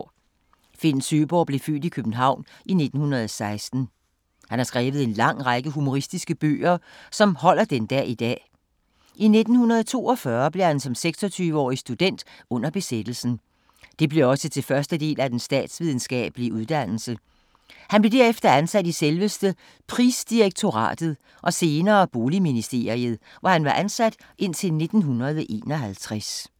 Finn Søeborg blev født i København i 1916. Han har skrevet en lang række humoristiske bøger, som holder den dag i dag. I 1942 blev han som 26-årig student under besættelsen. Det blev også til første del af den statsvidenskabelige uddannelse. Han blev derefter ansat i selveste Prisdirektoratet og senere Boligministeriet, hvor han var indtil 1951.